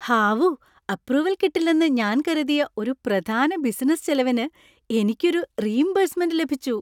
ഹാവൂ, അപ്രൂവൽ കിട്ടില്ലെന്ന് ഞാൻ കരുതിയ ഒരു പ്രധാന ബിസിനസ്സ് ചെലവിന് എനിക്ക് ഒരു റീഇംബേഴ്സ്മെന്‍റ് ലഭിച്ചു.